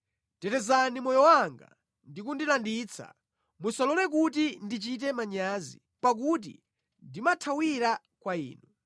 Tetezani moyo wanga ndi kundilanditsa; musalole kuti ndichite manyazi, pakuti ndimathawira kwa Inu.